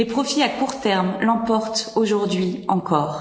les profits à court terme l'emportent aujourd'hui encore.